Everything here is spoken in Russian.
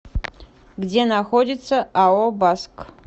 где находится ао баск